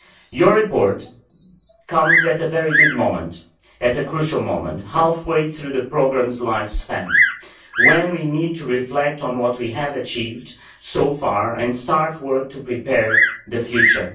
Your report comes at a very good moment, at a crucial moment halfway through the programme's lifespan when we need to reflect on what we have achieved so far and start work to prepare the future.